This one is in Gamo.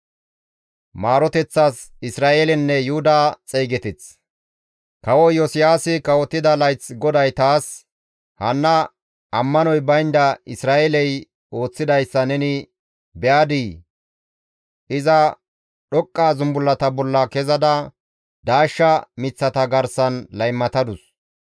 Kawo Iyosiyaasi kawotida layth GODAY taas, «Hanna ammanoy baynda Isra7eeley ooththidayssa neni be7adii? Iza dhoqqa zumbullata bolla kezada daashsha miththata garsan laymatadus.